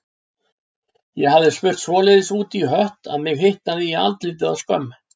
Ég hafði spurt svoleiðis út í hött að mig hitaði í andlitið af skömm.